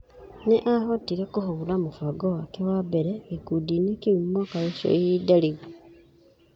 Nĩ aahotire kũhũũra mũbango wake wa mbere gĩkundi-inĩ kĩu mwaka ũcio ihinda rĩu.